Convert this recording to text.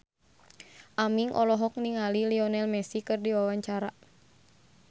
Aming olohok ningali Lionel Messi keur diwawancara